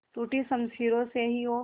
टूटी शमशीरों से ही हो